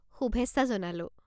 শুভেচ্ছা জনালোঁ!